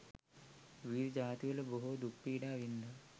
විවිධ ජාතිවල බොහෝ දුක්පීඩා වින්දා.